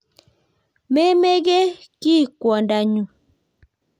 Memeke kiy kwongdonyu.